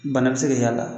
Bana bɛ se ka y'a la